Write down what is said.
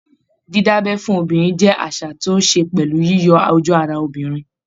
Dídábẹ́ fún obìnrin jẹ́ àṣà tó ní ṣe pẹ̀lú yíyọ ojú ara obìnrin